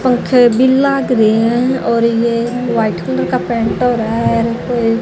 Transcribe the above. पंखे भी लाग रहे हैं और ये वाइट कलर का पेंट हो रहा है।